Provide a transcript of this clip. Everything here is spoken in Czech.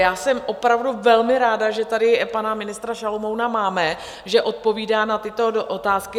Já jsem opravdu velmi ráda, že tady pana ministra Šalomouna máme, že odpovídá na tyto otázky.